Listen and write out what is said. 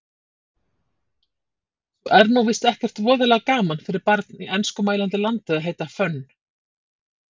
Svo er nú víst ekkert voðalega gaman fyrir barn í enskumælandi landi að heita Fönn